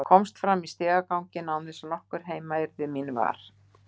Komst fram í stigaganginn án þess að nokkur heima yrði mín var.